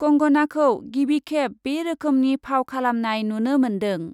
कंगनाखौ गिबिखेब बे रोखोमनि फाव खालामनाय नुनो मोन्दों ।